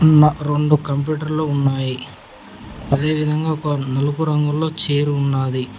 ఉన్న రెండు కంప్యూటర్ లు ఉన్నాయి అదేవిధంగా ఒక నలుపు రంగులో చైర్ ఉన్నది.